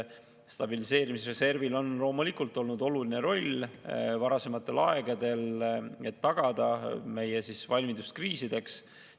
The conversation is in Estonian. Stabiliseerimisreservil on loomulikult olnud oluline roll varasematel aegadel, et tagada meie valmidus kriisideks.